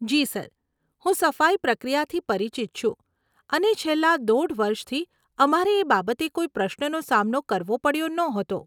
જી sir, હું સફાઈ પ્રક્રિયાથી પરિચિત છું અને છેલ્લાં દોઢ વર્ષથી અમારે એ બાબતે કોઈ પ્રશ્નનો સામનો કરવો પડ્યો નહોતો.